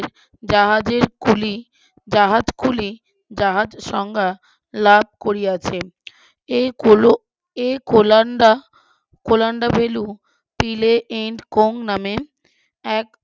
জাহাজের কুলি জাহাজ কুলি জাহাজ সংজ্ঞা লাভ করিয়াছে এই কোলো এই কোলান্ডা কোলান্ডা ভেলু ফিলে এন্ড কোং নামে এক